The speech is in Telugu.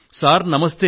సార్ నమస్తే